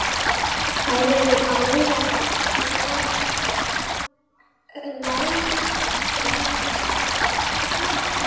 Þær eru báðar látnar.